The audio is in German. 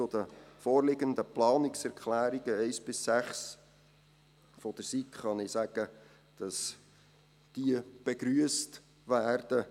Zu den vorliegenden Planungserklärungen 1 bis 6 der SiK kann ich sagen, dass diese begrüsst werden.